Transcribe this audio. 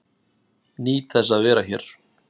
Nýt þess að vera hér